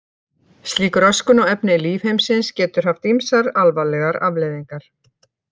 Slík röskun á efni lífheimsins getur haft ýmsar alvarlegar afleiðingar.